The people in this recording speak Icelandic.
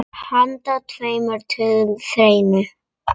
Handa tveimur til þremur